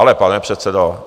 Ale pane předsedo!